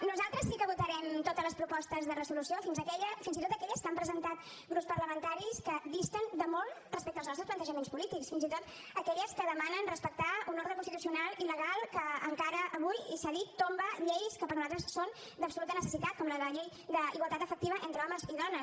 nosaltres sí que votarem totes les propostes de resolució fins i tot aquelles que han presentat grups parlamentaris que disten de molt respecte als nostres plantejaments polítics fins i tot aquelles que demanen respectar un ordre constitucional i legal que encara avui i s’ha dit tomba lleis que per nosaltres són d’absoluta necessitat com la llei d’igualtat efectiva entre homes i dones